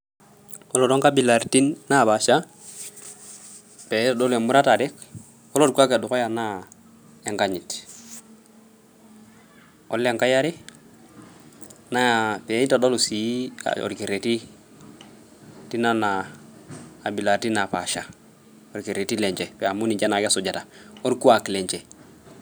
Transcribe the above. Koree too nkabilaritin naapaasha, naaitodolu emuratare, koree orkwaak Le dukuya naa enkanyit. Koree engai eare, naa peeitodolu sii orkereri teinana abilaritin naapaasha, orkereri lenje amu ninche naake esujita, orkwaak lenje